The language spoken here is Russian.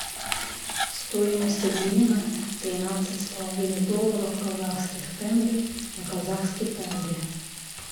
стоимость обмена тринадцать с половиной долларов казахских тенге на казахские тенге